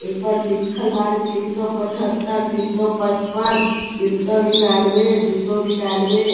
औइ पर लिखल बारे तिनसों पाछतर तिनसों पचपन तिनसों निन्यानबे दूसौ निन्यानबे --